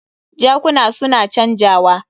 Jakuna su na canjawa.